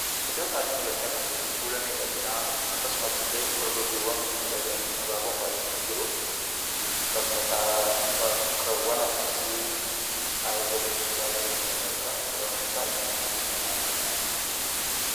Iddoo kanatti mul'achaa kan jiru kuula miidhaginaa akkasumatti illee gorgoggeewwan mimmiidhaganii abaaboon faayamanii jiru. Bakka ta'aa, bakkeewwan akkasii taa'ee boqochuu baay'eeman jaalladha. Sababni isaa, gammachuu guddaa naaf kennu waan ta'eef.